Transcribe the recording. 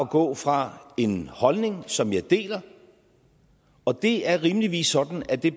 gå fra en holdning som jeg deler og det er rimeligvis sådan at det